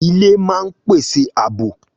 Ilé máa ń pèsè àbò